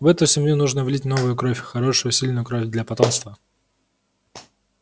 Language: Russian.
в эту семью нужно влить новую кровь хорошую сильную кровь для потомства